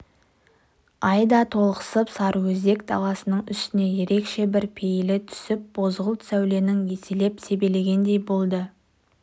ай да толықсып сарыөзек даласының үстіне ерекше бір пейілі түсіп бозғылт сәулесін еселеп себелегендей болды